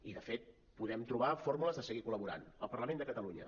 i de fet podem trobar fórmules de seguir col·laborant al parlament de catalunya